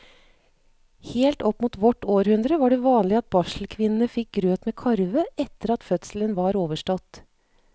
Helt opp mot vårt århundre var det vanlig at barselkvinnene fikk grøt med karve etter at fødselen var overstått.